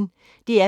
DR P1